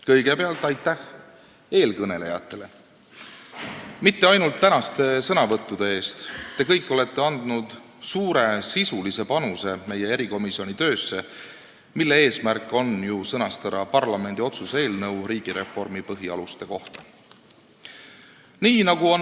Kõigepealt aitäh eelkõnelejatele ja mitte ainult tänaste sõnavõttude eest, te kõik olete andnud suure sisulise panuse meie erikomisjoni töösse, mille eesmärk on ju sõnastada parlamendi otsuse eelnõu riigireformi põhialuste kohta.